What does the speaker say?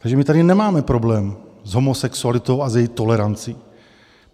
Takže my tady nemáme problém s homosexualitou a s její tolerancí.